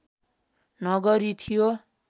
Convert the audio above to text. नगरी थियो